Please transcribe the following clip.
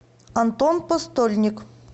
антон постольник